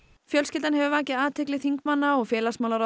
fjölskyldan hefur vakið athygli þingmanna og félagsmálaráðherra